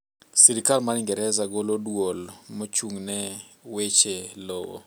sirkal mar ingereza golo duol machung' ne weche lowo